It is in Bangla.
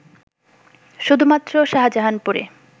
শুধুমাত্র শাহজাহানপুরে